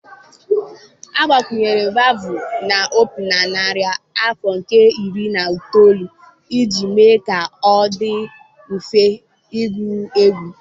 Agbakwunyere vavụ na opi na narị afọ nke iri na itoolu iji mee ka ọ dị mfe ịgụ egwu.